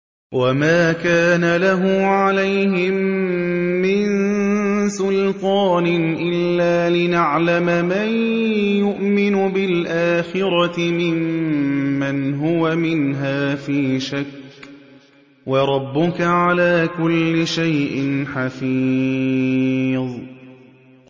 وَمَا كَانَ لَهُ عَلَيْهِم مِّن سُلْطَانٍ إِلَّا لِنَعْلَمَ مَن يُؤْمِنُ بِالْآخِرَةِ مِمَّنْ هُوَ مِنْهَا فِي شَكٍّ ۗ وَرَبُّكَ عَلَىٰ كُلِّ شَيْءٍ حَفِيظٌ